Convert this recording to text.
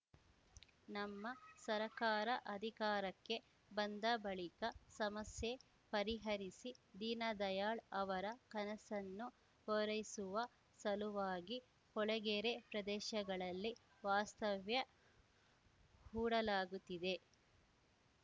ನಮ್ಮ ಸರ್ಕಾರ ಅಧಿಕಾರಕ್ಕೆ ಬಂದ ಬಳಿಕ ಸಮಸ್ಯೆ ಪರಿಹರಿಸಿ ದೀನದಯಾಳ್‌ ಅವರ ಕನಸನ್ನು ಪೂರೈಸುವ ಸಲುವಾಗಿ ಕೊಳಗೇರಿ ಪ್ರದೇಶಗಳಲ್ಲಿ ವಾಸ್ತವ್ಯ ಹೂಡಲಾಗುತ್ತಿದೆ